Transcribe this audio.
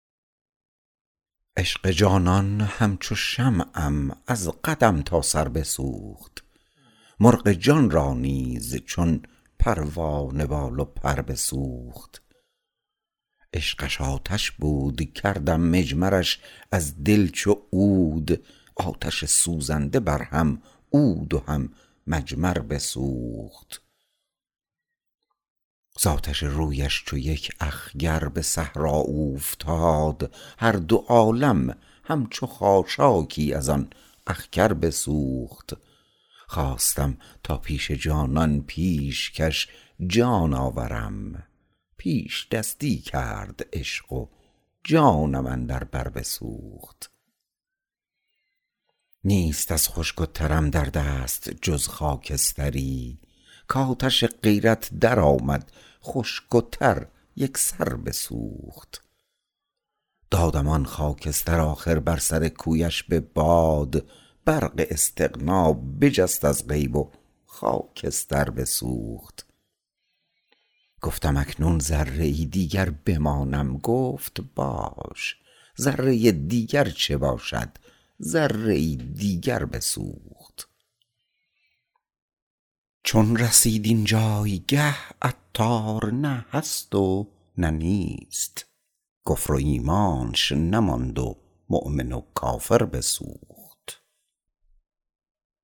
عشق جانان همچو شمعم از قدم تا سر بسوخت مرغ جان را نیز چون پروانه بال و پر بسوخت عشقش آتش بود کردم مجمرش از دل چو عود آتش سوزنده بر هم عود و هم مجمر بسوخت زآتش رویش چو یک اخگر به صحرا اوفتاد هر دو عالم همچو خاشاکی از آن اخگر بسوخت خواستم تا پیش جانان پیشکش جان آورم پیش دستی کرد عشق و جانم اندر بر بسوخت نیست از خشک و ترم در دست جز خاکستری کاتش غیرت درآمد خشک و تر یکسر بسوخت دادم آن خاکستر آخر بر سر کویش به باد برق استغنا بجست از غیب و خاکستر بسوخت گفتم اکنون ذره ای دیگر بمانم گفت باش ذره دیگر چه باشد ذره ای دیگر بسوخت چون رسید این جایگه عطار نه هست و نه نیست کفر و ایمانش نماند و مؤمن و کافر بسوخت